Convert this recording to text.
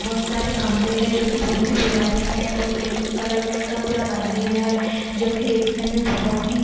बहोत सारे खम्बे है जोकि बहोत ही पुराने है और ब्लैक कलर में का पूरा मंदिर है जोकि देखने में बहोत ही --